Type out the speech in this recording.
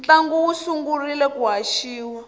ntlangu wu sungurile ku haxiwa